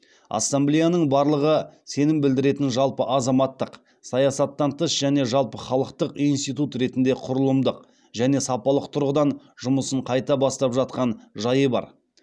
ассамблеяның барлығы сенім білдіретін жалпы азаматтық саясаттан тыс және жалпыхалықтық институт ретінде құрылымдық және сапалық тұрғыдан жұмысын қайта бастап жатқан жайы бар